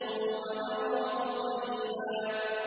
وَنَرَاهُ قَرِيبًا